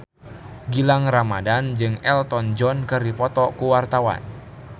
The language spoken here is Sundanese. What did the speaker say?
Gilang Ramadan jeung Elton John keur dipoto ku wartawan